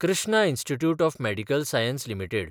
Krishna institute of medical science limited